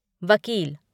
वकील